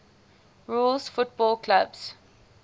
rules football clubs